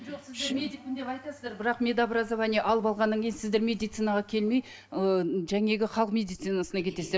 жоқ сіздер медикпін деп айтасыздар бірақ медобразование алып алғаннан кейін сіздер медицинаға келмей ы жаңағы халық медицинасына кетесіздер